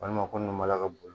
Walima ko n'u mala ka boli